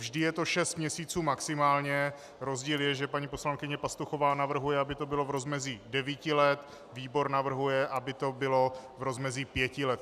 Vždy je to 6 měsíců maximálně, rozdíl je, že paní poslankyně Pastuchová navrhuje, aby to bylo v rozmezí 9 let, výbor navrhuje, aby to bylo v rozmezí 5 let.